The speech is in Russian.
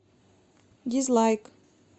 дизлайк